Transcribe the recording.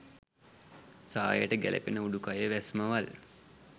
සායට ගැළපෙන උඩුකය වැස්මවල්